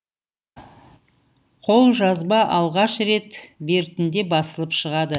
қолжазба алғаш рет бертінде басылып шығады